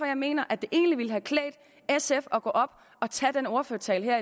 jeg mener at det egentlig ville have klædt sf at gå op og tage den ordførertale